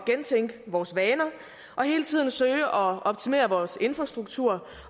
gentænke vores vaner og hele tiden søge at optimere vores infrastruktur